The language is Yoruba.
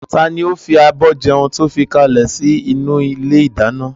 Taàní ó fi àbọ̀ jẹun to fi kalẹ sì inú ilé ìdáná?